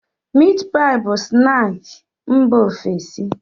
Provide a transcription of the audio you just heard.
Miit paị bụ snaakị mba ofesi.